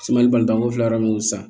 Semali bangekɔli fila m'o san